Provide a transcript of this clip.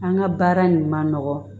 An ka baara in man nɔgɔn